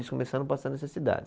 Eles começaram a passar necessidade.